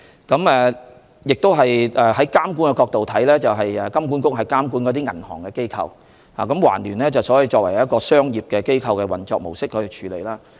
在監管的角度來看，金管局是監管銀行的機構，而環聯卻是以一個商業機構的模式運作。